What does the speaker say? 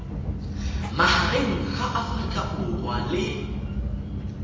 magareng ga aforika borwa le